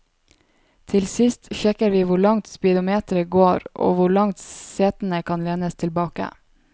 Til sist sjekker vi hvor langt speedometeret går, og hvor langt setene kan lenes tilbake.